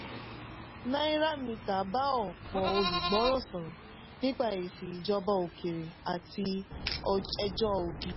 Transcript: náíràmítà bá ọ̀pọ̀ "olùgbọ́ràn" sọ̀rọ̀ nípa èsì ìjọba òkèèrè àti ẹjọ́ obi.